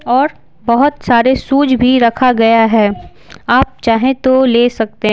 और बहुत सारे सूज भी रखा गया है आप चाहें तो ले सकते--